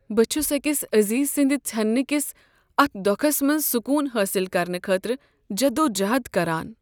بہٕ چھس أکِس عزیز سٕندِ ژھننہٕ کس اتھ دۄکھس منٛز سکوٗن حٲصل کرنہٕ خٲطرٕ جدوجہد کران۔